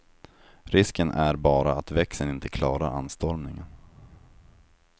Risken är bara att växeln inte klarar anstormningen.